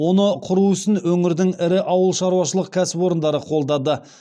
оны құру ісін өңірдің ірі ауылшаруашылық кәсіпорындары қолдады